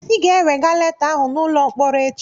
Ị ga-ewega leta ahụ n'ụlọ mkpọrọ echi